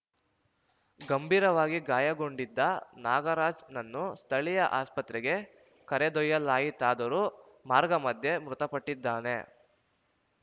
ಗಂಭೀರವಾಗಿ ಗಾಯಗೊಂಡಿದ್ದ ನಾಗರಾಜ್‌ನನ್ನು ಸ್ಥಳೀಯ ಆಸ್ಪತ್ರೆಗೆ ಕರೆದೊಯ್ಯಲಾಯಿತಾದರೂ ಮಾರ್ಗಮಧ್ಯೆ ಮೃತಪಟ್ಟಿದ್ದಾನೆ